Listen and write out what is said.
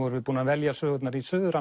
erum búin að velja sögurnar í suður